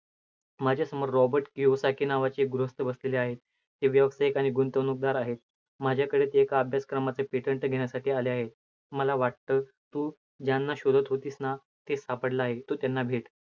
माझ्यासमोर रॉबर्ट केवसारखे नावाचे एक गृहस्थ बसले आहेत. ते व्यावसायिक आणि गुंतवणूकदार आहेत. माझ्याकडे ते एका अभ्यास क्रमाचे patent घेण्यासाठी आले आहेत. मला वाटतं, तु ज्यांना शोधत होतीस ना ते सापडले आहेत. तु त्यांना भेट.